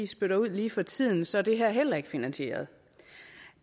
spytter ud lige for tiden så er det her heller ikke finansieret